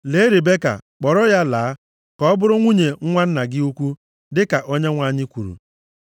Lee Ribeka, kpọrọ ya laa, ka ọ bụrụ nwunye nwa nna gị ukwu, dịka Onyenwe anyị kwuru.”